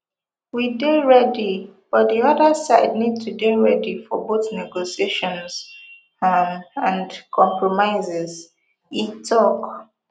we dey ready but di oda side need to dey ready for both negotiations um and compromises e tok